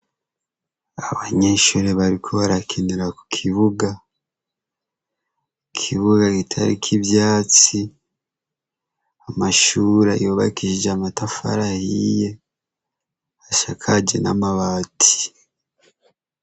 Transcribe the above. Abanyeshuri bariko barakinura ku kibuga kukibuga gitarik'ivyatsi amashuri yobakishije amatafara yiye hashakaje n'amabati.